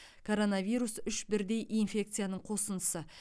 коронавирус үш бірдей инфекцияның қосындысы